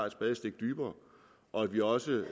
et spadestik dybere og at vi også